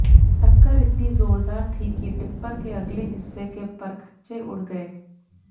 टक्कर इतनी जोरदार थी कि टिप्पर के अगले हिस्से के परखचे उड़ गए